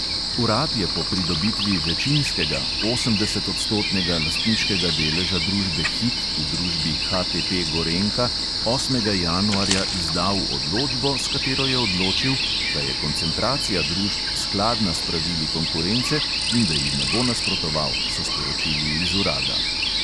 Urad je po pridobitvi večinskega, osemdesetodstotnega lastniškega deleža družbe hit v družbi HTP gorenjka osmega januarja izdal odločbo, s katero je odločil, da je koncentracija družb skladna s pravili konkurence in da ji ne bo nasprotoval, so sporočili iz urada.